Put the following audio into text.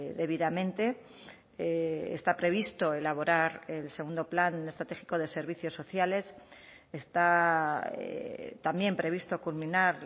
debidamente está previsto elaborar el segundo plan estratégico de servicios sociales está también previsto culminar